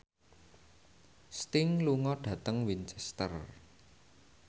Sting lunga dhateng Winchester